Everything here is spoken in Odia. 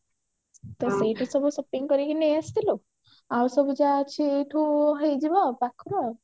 ତ ସେଇଠି ସବୁ shopping କରିକି ନେଇ ଆସିଥିଲୁ ଆଉ ସବୁ ଯାହା ଅଛି ଏଇଠୁ ହେଇଯିବ ଆଉ ପାଖରୁ